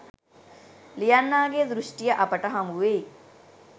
ලියන්නාගේ දෘෂ්ටිය අපට හමු වෙයි.